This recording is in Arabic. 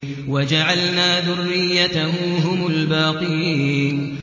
وَجَعَلْنَا ذُرِّيَّتَهُ هُمُ الْبَاقِينَ